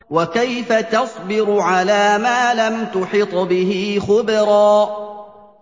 وَكَيْفَ تَصْبِرُ عَلَىٰ مَا لَمْ تُحِطْ بِهِ خُبْرًا